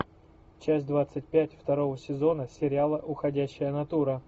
часть двадцать пять второго сезона сериала уходящая натура